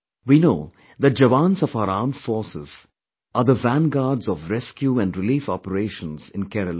We know that jawans of our armed forces are the vanguards of rescue & relief operations in Kerala